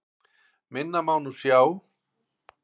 Minna má nú sjá.